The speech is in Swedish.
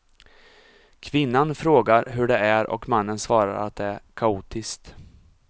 Kvinnan frågar hur det är och mannen svarar att det är kaotiskt.